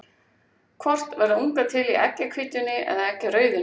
Hvort verða ungar til í eggjahvítunni eða eggjarauðunni?